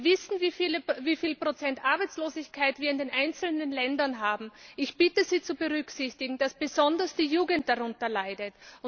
Wir wissen, wie viel Prozent Arbeitslosigkeit wir in den einzelnen Ländern haben. Ich bitte Sie zu berücksichtigen, dass besonders die Jugend darunter leidet.